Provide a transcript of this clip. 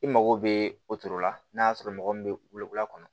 I mago bɛ o cogo la n'a y'a sɔrɔ mɔgɔ min bɛ luwura kɔnɔ